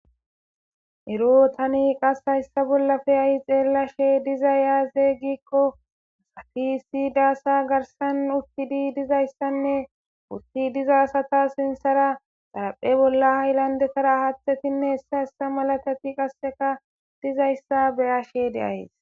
ero tani qas hayssa bollafe ayi xeellashe diza yaazey gikko asafisidaasa garsan utti di dizayssanne utti diza asata sinsara xaraphe bolla haylandetara haaththetinne hessa hessa malatati qasseka dizayssa beyashe deayes